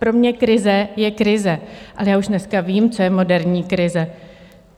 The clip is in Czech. Pro mě krize je krize, ale já už dneska vím, co je moderní krize.